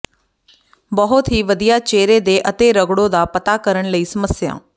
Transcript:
ਬਹੁਤ ਹੀ ਵਧੀਆ ਚਿਹਰੇ ਦੇ ਅਤੇਰਗੜੋ ਦਾ ਪਤਾ ਕਰਨ ਲਈ ਸਮੱਸਿਆ